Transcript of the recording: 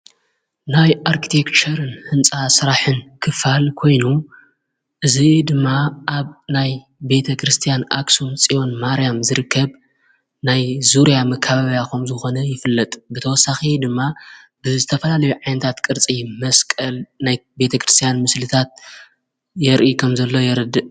ናይ ኣርኪቴርን ሕንፃ ሠራሕን ክፋል ኮይኑ ዝ ድማ ኣብ ናይ ቤተ ክርስቲያን ኣክሳን ፂዮን ማርያም ዝርከብ ናይ ዙርያ ምካባብያኾም ዝኾነ ይፍለጥ ብተወሳኺ ድማ ብ ዝተፈላለ ዓንታት ቅርጺ መስቀል ናይ ቤተ ክርስቲያን ምስልታት የርኢ ኸም ዘለ የርድእ።